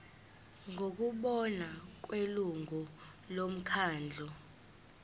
ngokubona kwelungu lomkhandlu